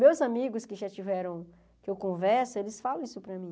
Meus amigos que já tiveram que eu converso, eles falam isso para mim.